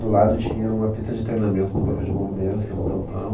Do lado tinha uma pista de treinamento do Corpo de Bombeiros, que era um campão.